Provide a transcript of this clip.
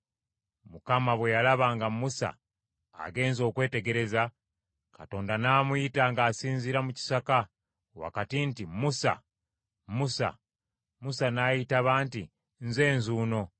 Mukama bwe yalaba nga Musa agenze okwetegereza, Katonda n’amuyita ng’asinziira mu kisaka wakati nti, “Musa, Musa!” Musa n’ayitaba nti, “Nze nzuuno.”